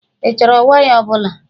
Ị chọrọ waya ọbụla?